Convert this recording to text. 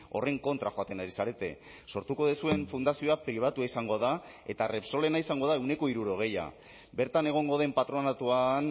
horren kontra joaten ari zarete sortuko duzuen fundazioa pribatua izango da eta repsolena izango da ehuneko hirurogeia bertan egongo den patronatuan